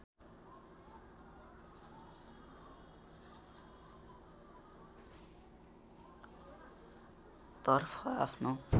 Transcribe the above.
तर्फ आफ्नो